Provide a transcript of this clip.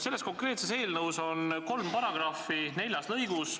Selles konkreetses eelnõus on kolm punkti neljas lõigus.